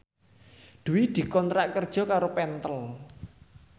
Dwi dikontrak kerja karo Pentel